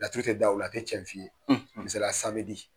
Laturu tɛ da o la a tɛ cɛn f'i ye .